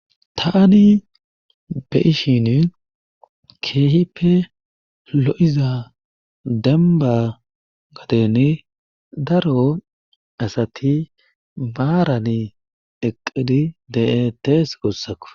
Taani be7ishini keehippe lo7iza dembba gadeeni daro asati maarani eqqidi de7eettees guussako.